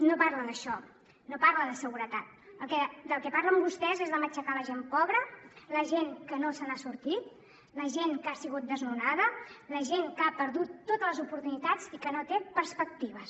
no parla d’això no parla de seguretat del que parlen vostès és de matxacar la gent pobra la gent que no se n’ha sortit la gent que ha sigut desnonada la gent que ha perdut totes les oportunitats i que no té perspectives